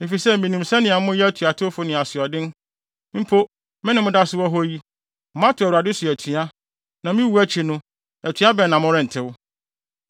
Efisɛ minim sɛnea moyɛ atuatewfo ne asoɔden. Mpo, me ne mo da so wɔ hɔ yi, moatew Awurade so atua. Na me wu akyi no, atua bɛn na morentew!